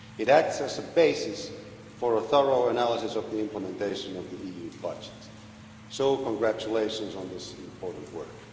It acts as a basis for a thorough analysis of the implementation of the EU budget, so congratulations on this important work.